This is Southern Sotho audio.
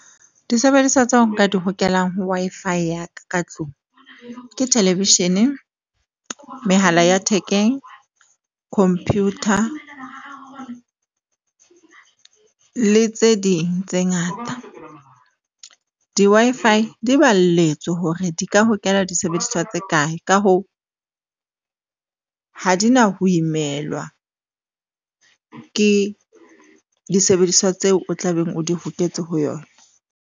Disebediswa tsa ho nka di hokelang ho Wi-Fi ya ka tlung ke television-e, mehala ya thekeng, computer le tse ding tse ngata di-Wi-Fi di balletswe hore di ka hokela disebediswa tse kae. Ka hoo ha di na ho imelwa ke disebediswa tseo o tla beng o di hoketse ho yona.